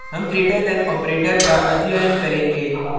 हम greater than operator का अध्ययन करेंगे